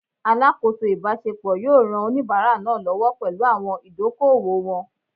Alakoso ibasepo yoo ran onibara naa lowo pelu awon idoko-owo won